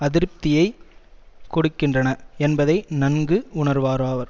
அதிருப்தியைக் கொடுக்கின்றன என்பதை நன்கு உணர்வாராவர்